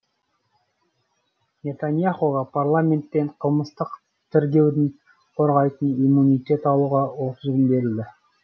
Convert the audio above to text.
нетаньяхуға парламенттен қылмыстық тергеуден қорғайтын иммунитет алуға отыз күн берілді